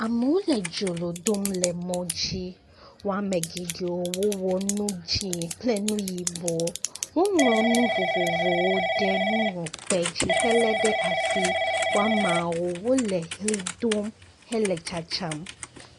Amewo le dzrolo dom le mɔ dzi. Woame geɖewo wɔ nu dzĩ kple nu yibɔ. Woŋlɔ nu vovovowo ɖe nuŋlɔkpe dzi helé ɖe asi. Woamewo le li do hele tsatsam